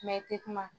i tɛ kuma